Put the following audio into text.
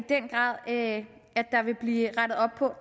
den grad at der vil blive rettet op på